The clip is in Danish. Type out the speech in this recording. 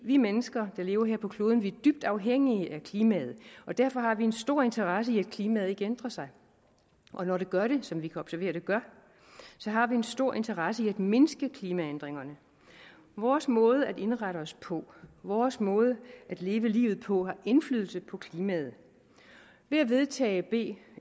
vi mennesker der lever her på kloden er dybt afhængige af klimaet og derfor har vi en stor interesse i at klimaet ikke ændrer sig og når det gør det som vi kan observere at det gør har vi en stor interesse i at mindske klimaændringerne vores måde at indrette os på vores måde at leve livet på har indflydelse på klimaet ved at vedtage b